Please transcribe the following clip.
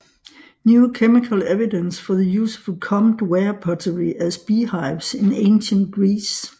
New chemical evidence for the use of combed ware pottery as beehives in ancient Greece